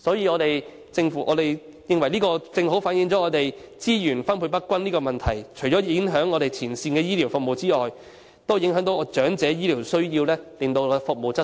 我們認為這正正反映資源分配不均的問題，除了影響前線醫療服務外，亦影響了長者所需的醫療服務的質素。